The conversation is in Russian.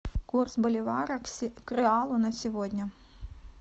курс боливара к реалу на сегодня